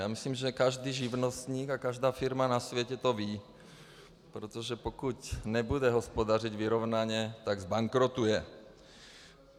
Já myslím, že každý živnostník a každá firma na světě to ví, protože pokud nebude hospodařit vyrovnaně, tak zbankrotuje.